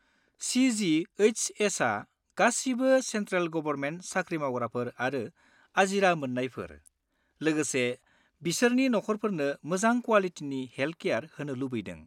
सि.जि.एइस.एस.आ गासिबो central government साख्रि मावग्राफोर आरो आजिरा मोन्नायफोर, लोगोसे बिसोरनि नखरफोरनो मोजां क्वालिटिनि हेलट-केयार होनो लुबैदों।